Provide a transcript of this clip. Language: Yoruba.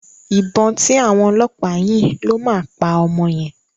Ìbọn tí àwọn ọlọ́pàá yìn ló máa pa ọmọ yẹn.